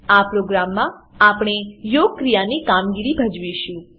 આ પ્રોગ્રામમાં આપણે યોગક્રિયાની કામગીરી ભજવીશું